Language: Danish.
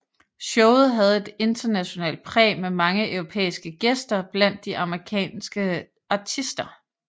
Showet havde et internationalt præg med mange europæiske gæster blandt de amerikanske artister